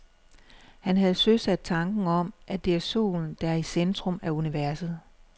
Han havde søsat tanken om, at det er solen, der er i centrum af universet.